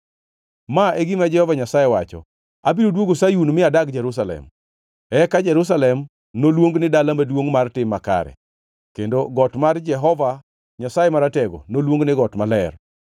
Ma e gima Jehova Nyasaye wacho: “Abiro duogo Sayun mi adag Jerusalem. Eka Jerusalem noluong ni Dala Maduongʼ Mar Tim Makare, kendo got mar Jehova Nyasaye Maratego noluong ni Got Maler.”